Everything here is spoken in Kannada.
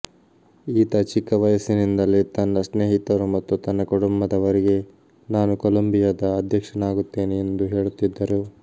ಈತ ಚಿಕ್ಕ ವಯಸ್ಸಿನಿಂದಲೇ ತನ್ನ ಸ್ನೇಹಿತರು ಮತ್ತು ತನ್ನ ಕುಟುಂಬದವರಿಗೆ ನಾನು ಕೊಲೊಂಬಿಯದ ಅಧ್ಯಕ್ಷನಾಗುತ್ತೇನೆ ಎಂದು ಹೇಳುತ್ತಿದ್ದರು